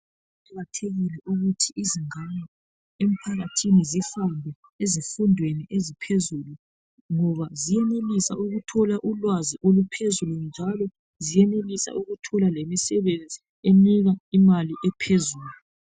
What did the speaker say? Kuqakathekile ukuthi izingane emphakathini zifunde ezifundweni eziphezulu ngoba zenelisa ukuthola ulwazi oluphezulu njalo zenelisa ukuthola lemisebenzi enika imali ephezulu.